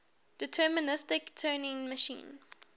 deterministic turing machine